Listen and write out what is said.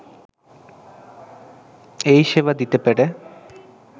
এই সেবা দিতে পেরে